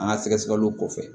An ka sɛgɛsɛgɛliw kɔfɛ